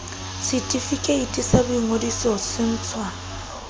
setefikeiti sa boingodiso se ntshwa